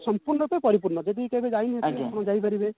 ସଂପୂର୍ଣ୍ଣ ରୂପେ ପରିପୂର୍ଣ ଯଦି କେବେ ଯାଇନଥିବେ ଆପଣ ଯାଇପାରିବେ